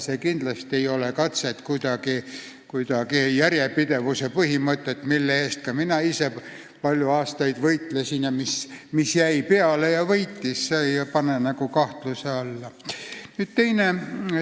See ei ole kindlasti katse järjepidevuse põhimõtet, mille eest ka mina ise palju aastaid võitlesin ning mis jäi peale ja võitis, kuidagi kahtluse alla panna.